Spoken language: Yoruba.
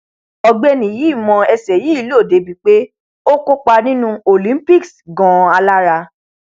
ọgbẹni yìí mọ ẹsẹ yìí lò dé ibi pé ó kópa nínú cs] olympics ganan alára